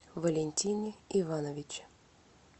валентине ивановиче